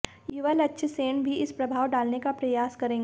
युवा लक्ष्य सेन भी इस प्रभाव डालने का प्रयास करेंगे